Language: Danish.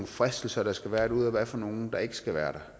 fristelser der skal være derude og hvad for nogle der ikke skal være